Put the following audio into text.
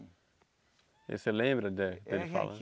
E você lembra de dele falando?